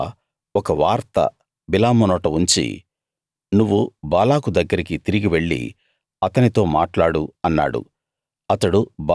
యెహోవా ఒక వార్త బిలాము నోట ఉంచి నువ్వు బాలాకు దగ్గరికి తిరిగి వెళ్లి అతనితో మాట్లాడు అన్నాడు